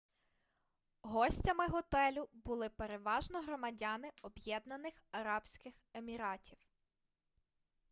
гостями готелю були переважно громадяни об'єднаних арабських еміратів